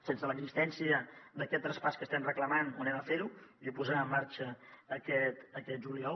sense l’existència d’aquest traspàs que estem reclamant ho farem i ho posarem en marxa aquest juliol